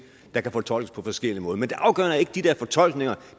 der kan fortolkes på forskellig måde men det afgørende er ikke de der fortolkninger